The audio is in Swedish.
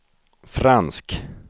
fransk